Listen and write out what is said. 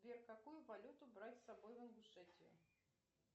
сбер какую валюту брать с собой в ингушетию